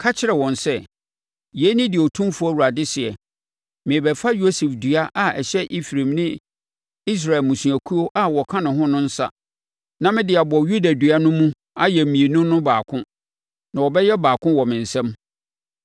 ka kyerɛ wɔn sɛ, ‘Yei ne deɛ Otumfoɔ Awurade seɛ: Merebɛfa Yosef dua a ɛhyɛ Efraim ne Israel mmusuakuo a wɔka ne ho no nsa, na mede abɔ Yuda dua no mu ayɛ mmienu no baako, na wɔbɛyɛ baako wɔ me nsam.’